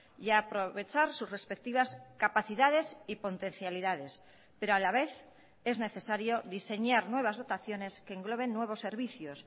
y aprovechar sus respectivas capacidades y potencialidades pero a la vez es necesario diseñar nuevas dotaciones que engloben nuevos servicios